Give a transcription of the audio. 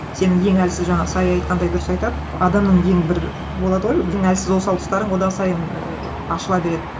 сенің ең әлсіз жаңағы сая айтқандай дұрыс айтады адамның ең бір болады ғой әлсіз осал тұстарың одан сайын ііі ашыла береді